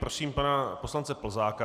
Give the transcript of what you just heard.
Prosím pana poslance Plzáka.